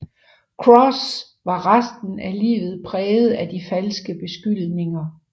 Crosse var resten af livet præget af de falske beskyldninger